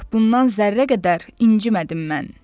Bundan zərrə qədər incimədim mən.